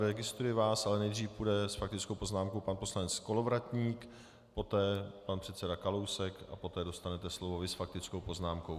Registruji vás, ale nejdřív půjde s faktickou poznámkou pan poslanec Kolovratník, poté pan předseda Kalousek a poté dostanete slovo vy s faktickou poznámkou.